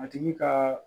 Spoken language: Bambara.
A tigi ka